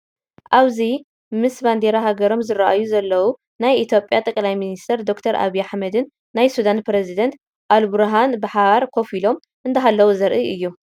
ኣብዚ መምስ ባንዴራ ሃገሮም ዝራኣዩ ዘለው ናይ ኢ/ያ ጠ/ሚ/ዶ/ኣብይ ኣሕመድን ናይ ሱዳን ኘሬዚዳንት ኣልቡርሃንን ብሓባር ኮፍ ኢሎም እንዳሃለው ዘርኢ እዩ፡፡